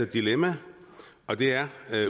dilemma og det er